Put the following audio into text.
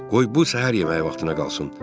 Qoy bu səhər yeməyi vaxtına qalsın.